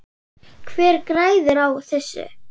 Hver græðir á þessu?